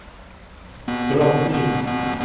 drottning